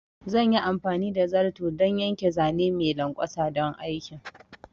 Zan yi amfani da zarto don yanke zane mai lanƙwasa don aikin